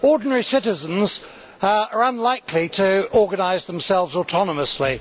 Ordinary citizens are unlikely to organise themselves autonomously.